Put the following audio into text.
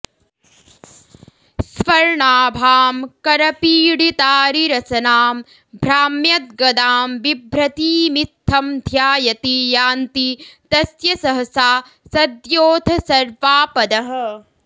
स्वर्णाभां करपीडितारिरसनां भ्राम्यद्गदां विभ्रतीमित्थं ध्यायति यान्ति तस्य सहसा सद्योऽथ सर्वापदः